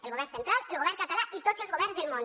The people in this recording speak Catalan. el govern central el govern català i tots els governs del món